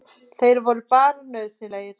Þeir voru bara nauðsynlegir.